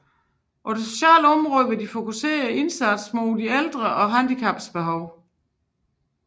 På det sociale område vil de fokusere indsatsen mod de ældre og handicappedes behov